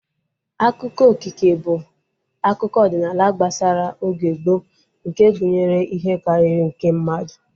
Akụkọ okike bụ akụkọ ọdịnala gbasara oge gboo nke gụnyere ihe karịrị nke mmadụ